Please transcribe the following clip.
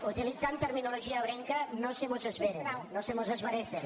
utilitzant terminologia ebrenca no se mos esveren no se mos esveressen